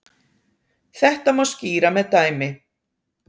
Þetta má skýra með dæmi.